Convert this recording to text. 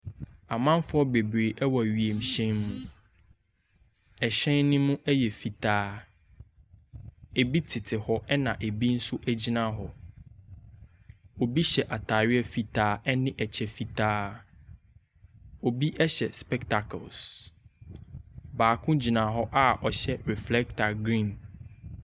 Amanfoɔ bebree ɛwɔ wiemhyɛn mu. Ɛhyɛn ne mu ɛyɛ fitaa, ebi tete hɔ ɛna ebi so egyina hɔ. Ebi hyɛ ataareɛ fitaa ɛne ɛkyɛ fitaa, obi ɛhyɛ spɛtakels. Baako egyina hɔ a ɔhyɛ reflɛta grin.